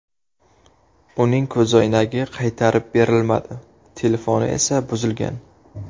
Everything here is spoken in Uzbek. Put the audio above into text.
Uning ko‘zoynagi qaytarib berilmadi, telefoni esa buzilgan.